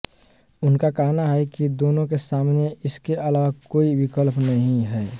उनका कहना है कि दोनों के सामने इसके अलावा कोई विकल्प नहीं है